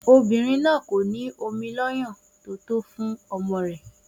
Obìnrin náà kò ní ọmọ lọ́yàn tó tó fún ọmọ rẹ̀